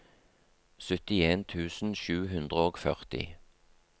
syttien tusen sju hundre og førti